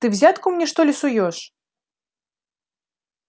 ты взятку мне что ли суёшь